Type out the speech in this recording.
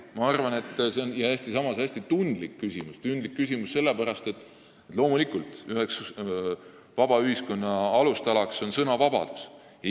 Tundlik küsimus on see selle pärast, et loomulikult on ühe vaba ühiskonna alustala sõnavabadus.